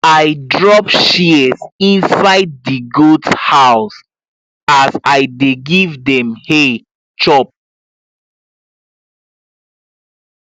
i drop shears inside di goat house as i dey give dem hay chop